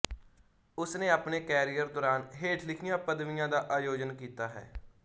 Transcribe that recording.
ਉਸ ਨੇ ਆਪਣੇ ਕੈਰੀਅਰ ਦੌਰਾਨ ਹੇਠ ਲਿਖੀਆਂ ਪਦਵੀਆਂ ਦਾ ਆਯੋਜਨ ਕੀਤਾ ਹੈ